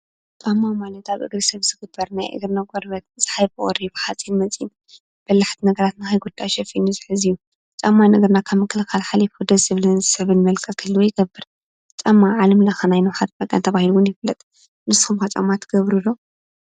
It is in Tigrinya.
ጫማ ማለት ኣብ ኣብ እግሪ ሰብ ዝግበር ናይ እግርና ቆርበት ብቁሪን ፣ሓፂን መፂን፣ በላሕቲ ነገራት ንከይጉዳእ ሸፊኑ ዝሕዝ እዩ። ጫማ ንእግርና ካብ ምክልካል ሓሊፉ ደስ ዝብልን ሰብን መልክዕ ክህልዎ ይገብር፡፡ ጫማ ናይ ዓለም ለከ ናይ ንውሓት ተባሂሉ ይፍለጥ፡፡ ንስኩም ከ ጫማ ትገብሩ ዶ?